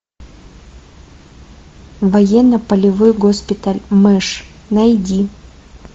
военно полевой госпиталь мэш найди